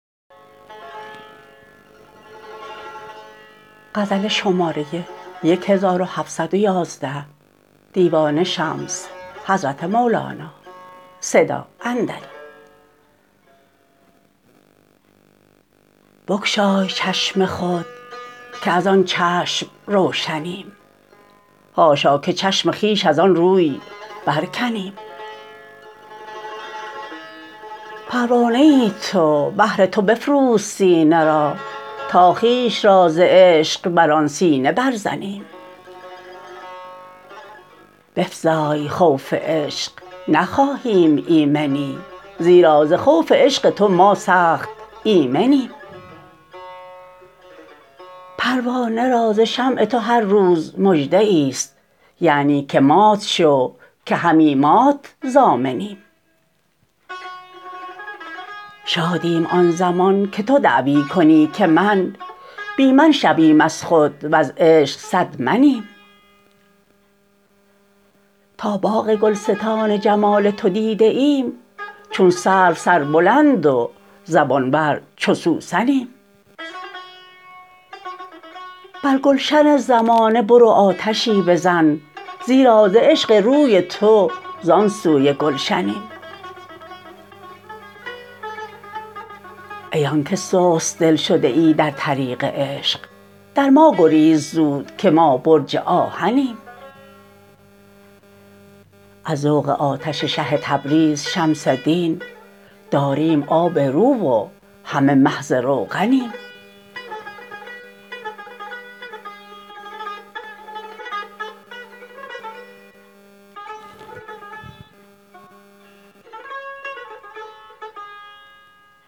بگشای چشم خود که از آن چشم روشنیم حاشا که چشم خویش از آن روی برکنیم پروانه ای تو بهر تو بفروز سینه را تا خویش را ز عشق بر آن سینه برزنیم بفزای خوف عشق نخواهیم ایمنی زیرا ز خوف عشق تو ما سخت ایمنیم پروانه را ز شمع تو هر روز مژده ای است یعنی که مات شو که همی مات ضامنیم شادیم آن زمان که تو دعوی کنی که من بی من شویم از خود و ز عشق صد منیم تا باغ گلستان جمال تو دیده ایم چون سرو سربلند و زبانور چو سوسنیم بر گلشن زمانه برو آتشی بزن زیرا ز عشق روی تو زان سوی گلشنیم ای آنک سست دل شده ای در طریق عشق در ما گریز زود که ما برج آهنیم از ذوق آتش شه تبریز شمس دین داریم آب رو و همه محض روغنیم